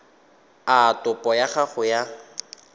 a topo ya gago ya